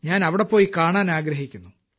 ഞാൻ അവിടെപോയി കാണാൻ ആഗ്രഹിക്കുന്നു